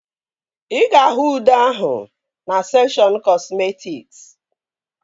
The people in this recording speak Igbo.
Ị ga-ahụ ude ahụ na sekshọn kọsmetịk